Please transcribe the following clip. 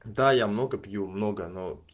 да я много пью много